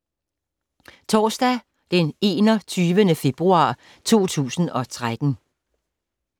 Torsdag d. 21. februar 2013